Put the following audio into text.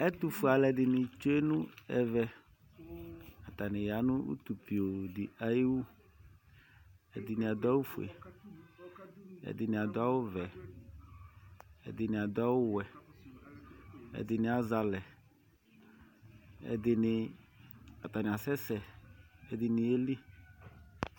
Ɛtufue alu ɛdini tsue nʋ ɛvɛAtani yanʋ utupiooo di ayiwu Ɛdini adʋ awu fueƐdini adʋ awu vɛƐdini adʋ awu wɛƐdini azɛ alɛƐdini atani asɛsɛƐdini yeli